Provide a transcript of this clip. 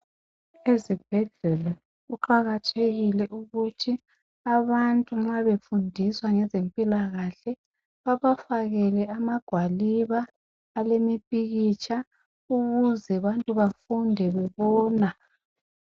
Ezibhedlela kuqakathekile ukuthi abantu nxa befundiswa ngezempilakahle babafakele amagwaliba alemipikitsha ukuze abantu bafunde bebona.